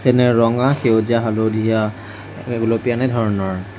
যেনে ৰঙা সেউজীয়া হালধীয়া গুলপীয়া এনে ধৰণৰ।